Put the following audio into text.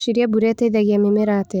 ũreciria mbura ĩteithagia mĩmera atĩa.